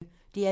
DR P1